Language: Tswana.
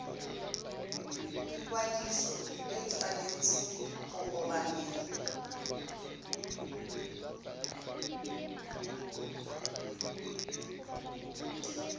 ikwadiso e tshwanetse go obamelwa